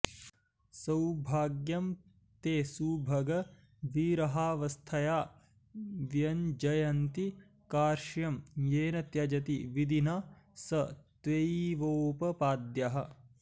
सौभाग्यं ते सुभग विरहावस्थया व्यञ्जयन्ती कार्श्यं येन त्यजति विधिना स त्वयैवोपपाद्यः